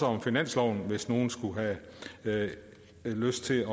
om finansloven hvis nogen skulle have lyst til